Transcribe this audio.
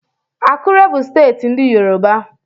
Akure bụ steeti ndị Yoruba.